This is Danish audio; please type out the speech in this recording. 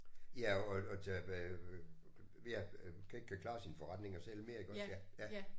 Ja at at tage øh ja øh ikke kan klare sine forretninger selv mere iggås ja ja